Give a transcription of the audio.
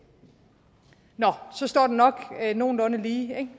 så står det nok nogenlunde lige